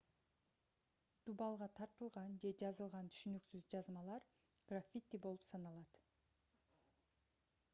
дубалга тартылган же жазылган түшүнүксүз жазмалар граффити болуп саналат